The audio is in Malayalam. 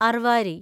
അർവാരി